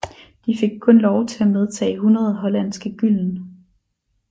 De fik kun lov til at medtage 100 hollandske gylden